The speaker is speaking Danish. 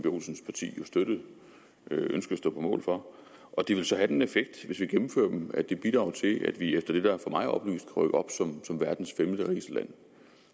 olsens parti jo støttede ønskede at stå på mål for og det vil så have den effekt hvis vi gennemfører dem at det bidrager til at vi efter det der for mig er oplyst rykker op som verdens femterigeste land